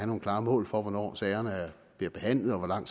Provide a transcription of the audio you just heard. nogle klare mål for hvornår sagerne bliver behandlet og hvor lang